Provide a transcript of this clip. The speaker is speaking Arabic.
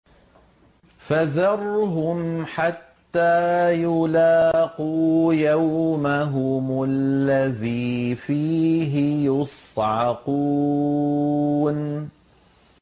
فَذَرْهُمْ حَتَّىٰ يُلَاقُوا يَوْمَهُمُ الَّذِي فِيهِ يُصْعَقُونَ